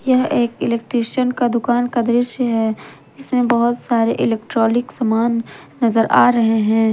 यह एक इलेक्ट्रिशियन का दुकान का दृश्य है जिसमें बहोत सारे इलेक्ट्रॉलीक समान नजर आ रहे हैं।